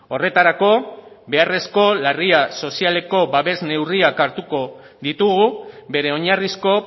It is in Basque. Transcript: horretarako beharrezko larria sozialeko babes neurriak hartuko ditugu bere oinarrizko